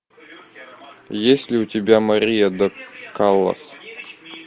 есть ли у тебя мария до каллас